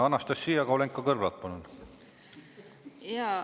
Anastassia Kovalenko-Kõlvart, palun!